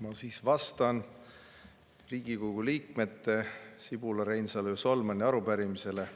Ma siis vastan Riigikogu liikmete Sibula, Reinsalu ja Solmani arupärimisele